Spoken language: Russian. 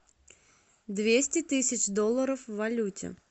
двести тысяч долларов в валюте